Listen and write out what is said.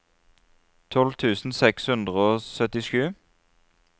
tolv tusen seks hundre og syttisju